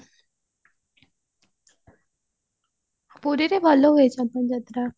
ପୁରୀରେ ଭଲ ହୁଏ ସବୁ